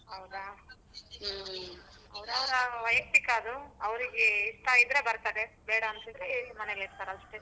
ಹೌದ ಅವರ ವೈಯಕ್ತಿಕ ಅದು ಅವರಿಗೆ ಇಷ್ಟ ಇದ್ರೆ ಬರ್ತಾರೆ ಬೇಡ ಅಂದ್ರೆ ಮನೇಲ್ ಇರ್ತಾರೆ ಅಷ್ಟೆ.